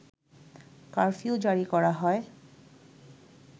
curfew জারি করা হয়